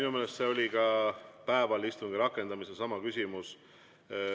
Minu meelest oli ka päeval istungi rakendamisel seesama küsimus.